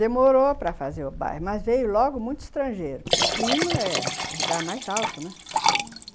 Demorou para fazer o bairro, mas veio logo muito estrangeiro, porque o clima é o lugar mais alto, né? Uhum.